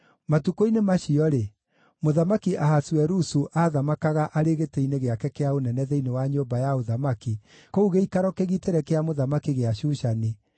Matukũ-inĩ macio-rĩ, Mũthamaki Ahasuerusu aathamakaga arĩ gĩtĩ-inĩ gĩake kĩa ũnene thĩinĩ wa nyũmba ya ũthamaki kũu gĩikaro kĩgitĩre kĩa mũthamaki gĩa Shushani,